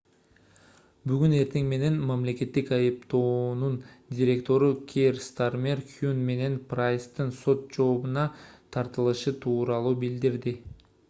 бүгүн эртең менен мамлекеттик айыптоонун директору кейр стармер хюн менен прайстын сот жообуна тартылышы тууралуу билдирди